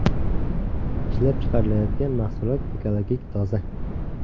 Ishlab chiqarilayotgan mahsulot ekologik toza.